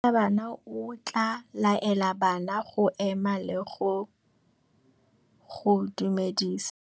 Morutabana o tla laela bana go ema le go go dumedisa.